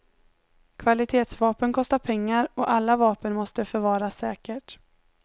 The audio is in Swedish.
Kvalitetsvapen kostar pengar och alla vapen måste förvaras säkert.